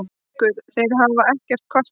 Haukur: Þeir hafa ekkert kvartað?